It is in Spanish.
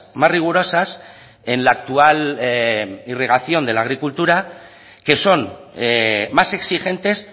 más rigurosas en la actual irrigación de la agricultura que son más exigentes